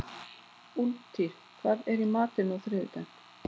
Úlftýr, hvað er í matinn á þriðjudaginn?